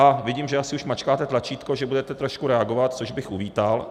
A vidím, že asi už mačkáte tlačítko, že budete trošku reagovat, což bych uvítal.